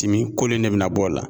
kolo in de bina bɔ o la.